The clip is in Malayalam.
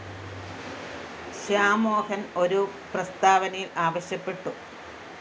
ശ്യാംമോഹന്‍ ഒരു പ്രസ്താവനയില്‍ ആവശ്യപ്പെട്ടു